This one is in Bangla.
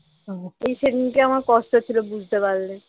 এই সেদিন কে আমার কষ্ট হচ্ছিল বুঝতে পারলে